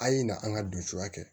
A' ye na an ka donya kɛ